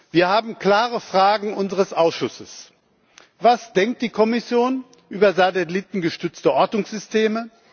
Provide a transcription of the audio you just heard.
Wir haben klare Fragen unseres Ausschusses Was denkt die Kommission über satellitengestützte Ortungssysteme?